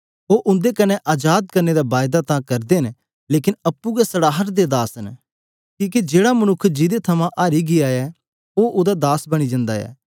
ओह उनेगी स्वंतत्र करने दी हरज्ञा अते करदे न लेकन आपे हे सड़ाहट दे दास न कीहके जेहड़ा मनुक्ख जिदे कन्ने हारी गीया ऐ ओह उदा दास बनी जानदा ऐ